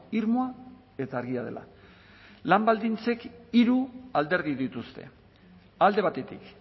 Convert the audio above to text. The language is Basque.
irmoa eta argia dela lan baldintzek hiru alderdi dituzte alde batetik